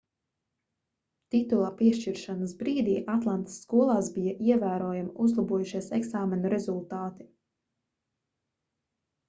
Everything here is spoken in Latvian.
titula piešķiršanas brīdī atlantas skolās bija ievērojami uzlabojušies eksāmenu rezultāti